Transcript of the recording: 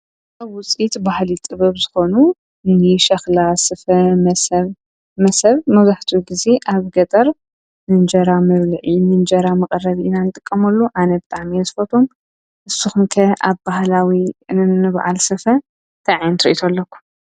ኣብ ውፂት ባሕሊ ጥበብ ዝኾኑ ን ሽኽላ ስፈ ሰ መሰብ መዙሕቱ ጊዜ ኣብ ገጠር ንንጀራ መብልዒ ንንጀራ መቕረቢ ኢናን ጥቀምሉ ኣነብጣሚ ስፈቶም ሱኹምከ ኣብ በሃላዊ እንንብዓል ሰፈ ተዓንትሪ ይቶ ኣለኩ